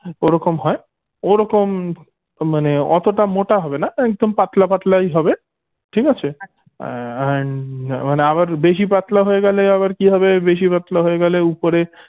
ওরকম হয় ওরকম মানে অতটা মোটা হবেনা একদম পাতলা পাতলাই হবে ঠিক আছে আহ ই and মানে আবার বেশি পাতলা হয়ে গেলে আবার কি হবে বেশি পাতলা হয়ে গেলে ওপরে